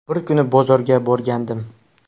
Bir kuni bozorga borgandim.